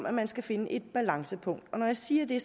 at man skal finde et balancepunkt og når jeg siger det